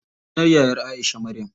Sunan yayar Aisha, Maryam.